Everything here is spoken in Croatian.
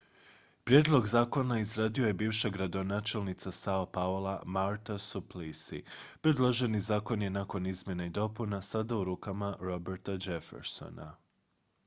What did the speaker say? prijedlog zakona izradio je bivša gradonačelnica sao paula marta suplicy predloženi zakon je nakon izmjena i dopuna sada u rukama roberta jeffersona